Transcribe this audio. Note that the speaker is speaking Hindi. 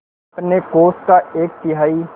अपने कोष का एक तिहाई